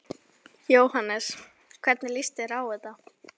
Jóhannes: Hvernig líst þér á þetta?